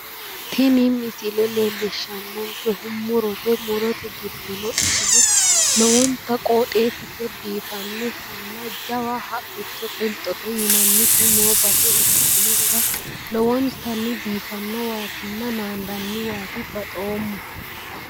Tini misile leellishshannonkehu murote. murote giddono iseno lowonta qoxxeessise biifanoti haqicho qilxote yinannite lowontanni baxoomma".